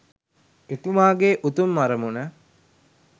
එතුමාගේ උතුම් අරමුණ